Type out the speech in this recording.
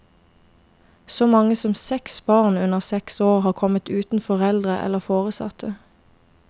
Så mange som seks barn under seks år har kommet uten foreldre eller foresatte.